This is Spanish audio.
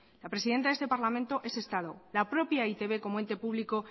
la presidenta de este parlamento es estado la propia de e i te be como ente público